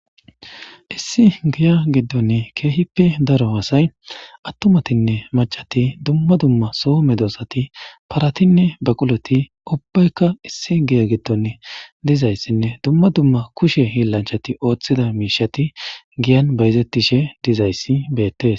Issi giya gidon keehippe daro asay atumatinne mac'ati, dumma dumma so medosati paratinne baqulot dumma dumma ubayaka issi giya gidon dizaysanne dumma dumma kushe holilanchat othida mishat giyan bayzetishe dizays betes.